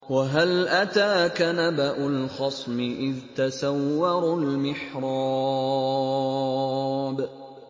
۞ وَهَلْ أَتَاكَ نَبَأُ الْخَصْمِ إِذْ تَسَوَّرُوا الْمِحْرَابَ